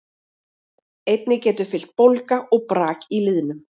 Einnig getur fylgt bólga og brak í liðnum.